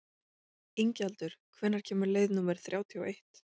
Ingjaldur, hvenær kemur leið númer þrjátíu og eitt?